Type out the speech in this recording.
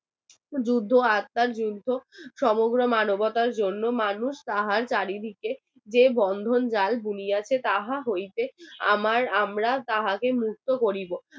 যুদ্ধ আত্মার যুদ্ধ সমগ্র মানবতার জন্য মানুষ তাহার চারিদিকে যে বন্ধন জাল বুনিয়া তাহা হইতে আমার আমরা তাহাতে মুক্ত করিব